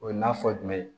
O ye na fɔ jumɛn ye